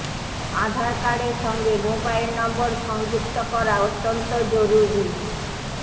আধার কার্ডের সঙ্গে mobile number সংযুক্ত করা অত্যন্ত জরুরী